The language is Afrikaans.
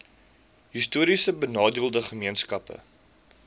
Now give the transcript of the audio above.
histories benadeelde gemeenskappe